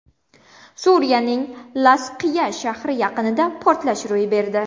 Suriyaning Lazqiya shahri yaqinida portlash ro‘y berdi.